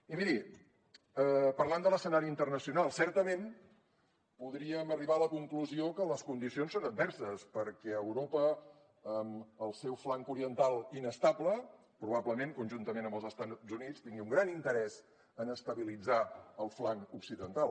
i miri parlant de l’escenari internacional certament podríem arribar a la conclusió que les condicions són adverses perquè europa amb el seu flanc oriental inestable probablement conjuntament amb els estats units tingui un gran interès en estabilitzar el flanc occidental